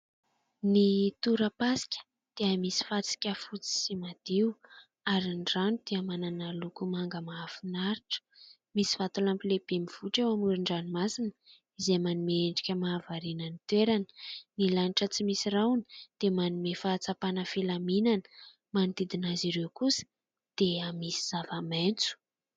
Ny torapasika dia misy fasika fotsy sy madio ary ny rano dia manana loko manga mahafinaritra. Misy vatolampy lehibe mivohitra eo amoron-dranomasina izay manome endrika mahavariana ny toerana. Ny lanitra tsy misy rahona dia manome fahatsapana filaminana. Manodidina azy ireo kosa dia misy zava-maitso.